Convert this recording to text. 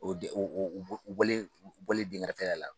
U bɔlen dɛnkɛrɛfɛɛya la